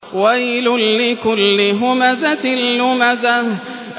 وَيْلٌ لِّكُلِّ هُمَزَةٍ لُّمَزَةٍ